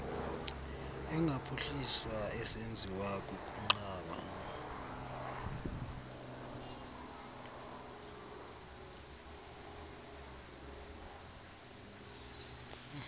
engaphuhliswa esenziwa kukunqaba